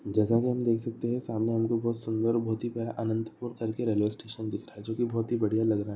जगह हम देख सकते हैं। सामने हमको बहुत सुन्दर अनंतपुर करके रेलवे स्टेशन दिख रहा है जो की बहुत ही बढ़िया लग रहा है।